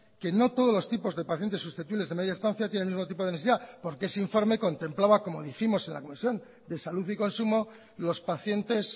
que no todos los tipos de pacientes susceptibles de media estancia tienen el mismo tipo de necesidad porque ese informe contemplaba como dijimos en la comisión de salud y consumo los pacientes